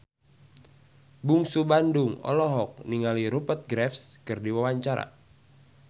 Bungsu Bandung olohok ningali Rupert Graves keur diwawancara